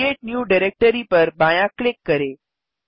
create new directory पर बायाँ click करें